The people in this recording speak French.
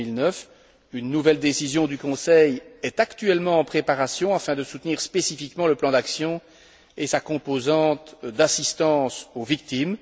2009. Une nouvelle décision du Conseil est actuellement en préparation afin de soutenir spécifiquement le plan d'action, et sa composante d'assistance aux victimes.